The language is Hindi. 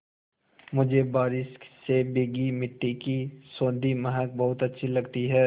मुझे बारिश से भीगी मिट्टी की सौंधी महक बहुत अच्छी लगती है